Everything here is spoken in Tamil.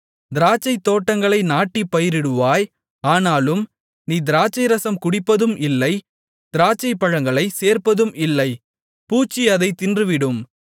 திராட்சைத்தோட்டங்களை நாட்டிப் பயிரிடுவாய் ஆனாலும் நீ திராட்சைரசம் குடிப்பதும் இல்லை திராட்சைப்பழங்களைச் சேர்ப்பதும் இல்லை பூச்சி அதைத் தின்றுவிடும்